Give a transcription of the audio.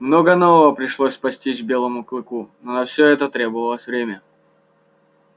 много нового пришлось постичь белому клыку но на все это потребовалось время